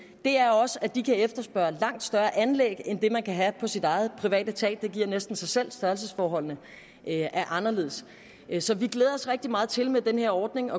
er også at de kan efterspørge langt større anlæg end det man kan have på sit private tag det giver næsten sig selv fordi størrelsesforholdene er anderledes så vi glæder os rigtig meget til med den her ordning